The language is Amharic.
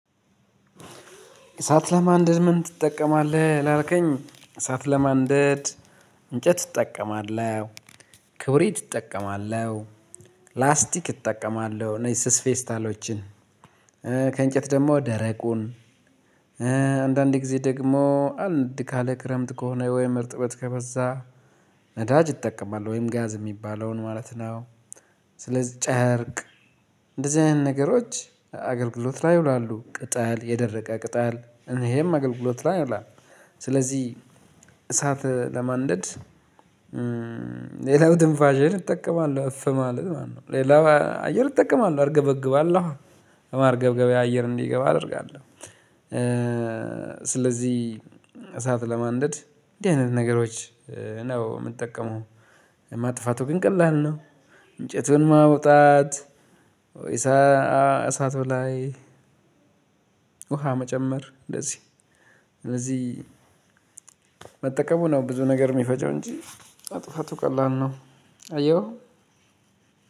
እሳት ለማንደድ ምን ትጠቀማለህ ላልከኝ እሳት ለማንደድ እንጨት እጠቀማለሁ። ክብሪት እጠቀማለሁ። ላስቲክ እጠቀማለሁ እነዚህ ስስ ፌስታሎችን ከእንጨት ደግሞ ደረቁን አንዳንዴ ጊዜ ደግሞ አንድ ካለ ክረምት ከሆነ ወይም እርጥበት ከበዛ። ነዳጅ እጠቀማለሁ ወይም ጋዝ ሚባለውን ማለት ነው። ስለዚህ ጨርቅ እንደዚህ አይነት ነገሮች አገልግሎት ላይ ይውላሉ ቅጠል የደረቀ ቅጠል እሄም አገልግሎት ላይ ይውላል። ስለዚህ እሳት ለማንደድ። ሌላው ትንፋሸን እጠቀማለሁ እፍ ማለት ማለት ነው። ሌላው አየር እጠቀማለሁ አርገበግባለሁ በማርገብገቢያ አየር እንዲገባ አደርጋለሁ። ስለዚህ እሳት ለማንደድ እንዲህ አይነት ነገሮች ነው ምጠቀመው። ማጥፋቱ ግን ቀላል ነው። እንጨቱን ማውጣት ወይሳ እሳት ላይ። ውሃ መጨመር እንደዚህ ስለዚህ መጠቀሙ ነው ብዙ ነገር ሚፈጀው እንጂ ማጥፋቱ ቀላል ነው። አየሁ።